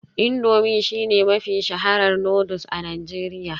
Indomie shine mafi shaharar noodles a Najeriya